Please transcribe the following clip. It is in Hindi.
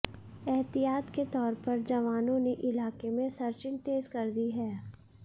एहतियात के तौर पर जवानों ने इलाके में सर्चिंग तेज कर दी है